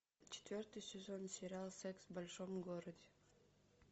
четвертый сезон сериал секс в большом городе